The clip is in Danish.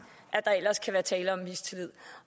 at der ellers kan være tale om mistillid